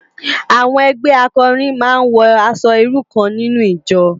Awòn ègbè àkòrín má n wò aṣò irú kán ninú ijò